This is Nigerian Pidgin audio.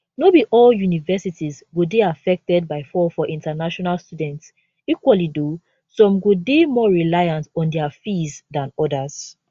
no be all universities go dey affected by fall for international students equally though some go dey more reliant on dia fees dan odas